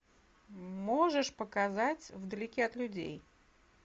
можешь показать в далеке от людей